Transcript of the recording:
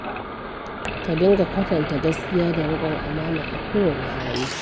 ka dinga kwatanta gaskiya da riƙon amana a kowane hali.